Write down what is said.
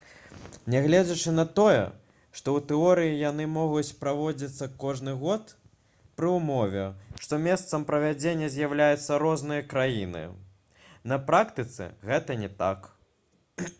нягледзячы на тое што ў тэорыі яны могуць праводзіцца кожны год пры ўмове што месцам правядзення з'яўляюцца розныя краіны на практыцы гэта не так